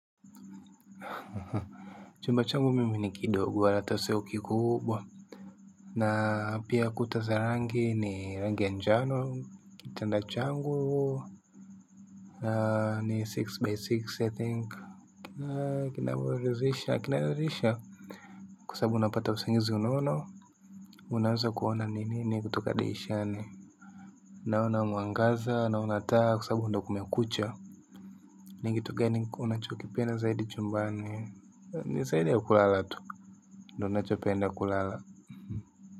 Ha ha ha chumba changu mimi ni kidogo ata sio kikubwa na pia kuta za rangi ni rangi ya njano kitanda changu ni six by six i think kinavyoridhisha kinaridhisha kwa sababu napata usingizi unono unaanza kuona nini kutoka dirishani naona mwangaza naona taa kwa sababu ndio kumekucha ni kitu gani unachokipenda zaidi chumba ni ni zaidi ya kulala tu ndo unachopenda kulala. Kwa hivyo.